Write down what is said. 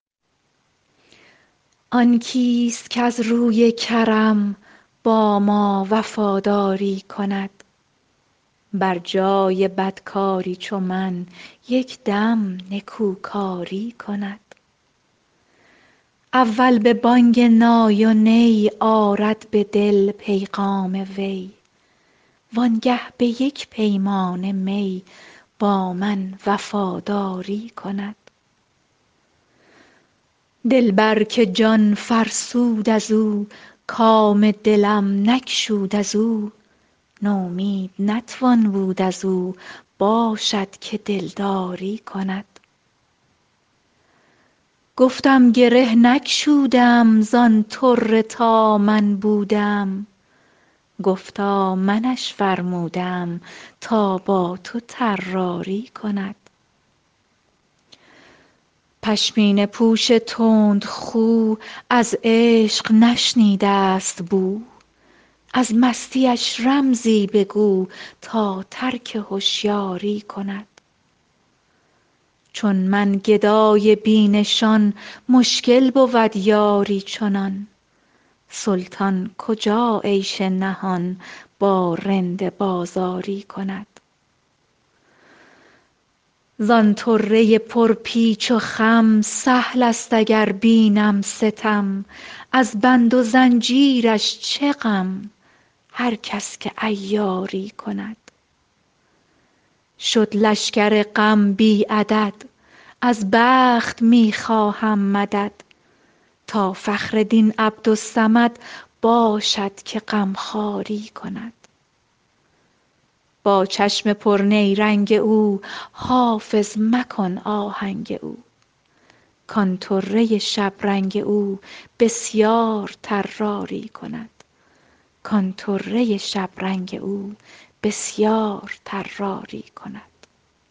آن کیست کز روی کرم با ما وفاداری کند بر جای بدکاری چو من یک دم نکوکاری کند اول به بانگ نای و نی آرد به دل پیغام وی وانگه به یک پیمانه می با من وفاداری کند دلبر که جان فرسود از او کام دلم نگشود از او نومید نتوان بود از او باشد که دلداری کند گفتم گره نگشوده ام زان طره تا من بوده ام گفتا منش فرموده ام تا با تو طراری کند پشمینه پوش تندخو از عشق نشنیده است بو از مستیش رمزی بگو تا ترک هشیاری کند چون من گدای بی نشان مشکل بود یاری چنان سلطان کجا عیش نهان با رند بازاری کند زان طره پرپیچ و خم سهل است اگر بینم ستم از بند و زنجیرش چه غم هر کس که عیاری کند شد لشکر غم بی عدد از بخت می خواهم مدد تا فخر دین عبدالصمد باشد که غمخواری کند با چشم پرنیرنگ او حافظ مکن آهنگ او کان طره شبرنگ او بسیار طراری کند